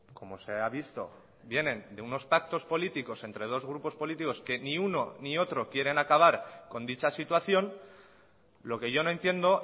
como se ha visto vienen de unos pactos políticos entre dos grupos políticos que ni uno ni otro quieren acabar con dicha situación lo que yo no entiendo